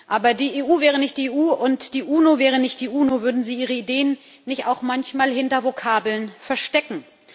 Aber die EU wäre nicht die EU, und die UNO wäre nicht die UNO, würden sie ihre Ideen nicht auch manchmal hinter Vokabeln verstecken.